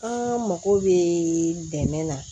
An mago bɛ dɛmɛ na